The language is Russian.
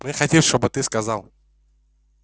мы хотим чтобы ты сказал